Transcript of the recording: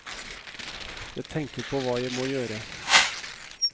Jeg tenker på hva jeg må gjøre.